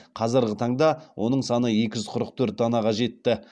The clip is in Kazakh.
қазіргі таңда оның саны екі жүз қырық төрт данаға жетті